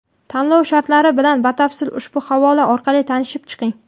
Tanlov shartlari bilan batafsil ushbu havola orqali tanishib chiqing.